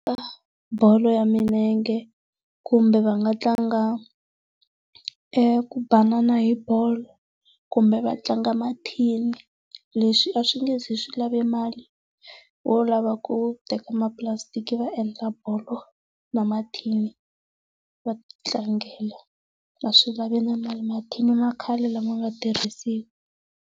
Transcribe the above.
bolo ya milenge kumbe va nga tlanga eku banana hi bolo kumbe vatlanga mathini. Leswi a swi nge zi swi lave e mali, wo lava ku teka mapulasitiki va endla bolo, na mathini va ti tlangela, a swi lavi na mali mathini ma khale lama nga tirhisiwa.